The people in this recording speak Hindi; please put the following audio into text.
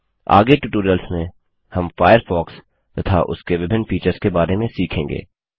आगे ट्यूटोरियल्स में हम फ़ायरफ़ॉक्स तथा उसके विभिन्न फीचर्स के बारे में सीखेंगे